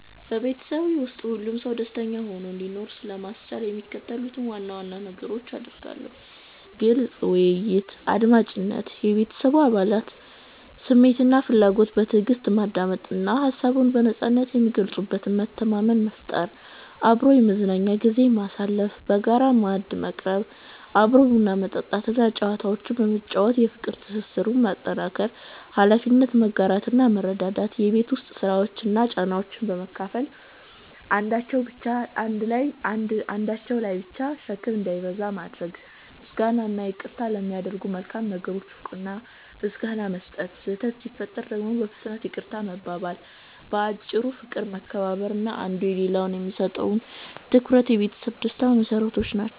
በቤተሰቤ ውስጥ ሁሉም ሰው ደስተኛ ሆኖ እንዲኖር ለማስቻል የሚከተሉትን ዋና ዋና ነገሮች አደርጋለሁ፦ ግልጽ ውይይትና አድማጭነት፦ የቤተሰቤን አባላት ስሜትና ፍላጎት በትዕግስት ማዳመጥ እና ሀሳብን በነጻነት የሚገልጹበት መተማመን መፍጠር። አብሮ የመዝናኛ ጊዜ ማሳለፍ፦ በጋራ ማዕድ መቅረብ፣ አብሮ ቡና መጠጣት እና ጨዋታዎችን በመጫወት የፍቅር ትስስሩን ማጠናከር። ኃላፊነትን መጋራትና መረዳዳት፦ የቤት ውስጥ ስራዎችን እና ጫናዎችን በመካፈል አንዳቸው ላይ ብቻ ሸክም እንዳይበዛ ማድረግ። ምስጋናና ይቅርታ፦ ለሚደረጉ መልካም ነገሮች እውቅና እና ምስጋና መስጠት፣ ስህተት ሲፈጠር ደግሞ በፍጥነት ይቅርታ መባባል። ባጭሩ፦ ፍቅር፣ መከባበር እና አንዱ ለሌላው የሚሰጠው ትኩረት የቤተሰብ ደስታ መሰረቶች ናቸው።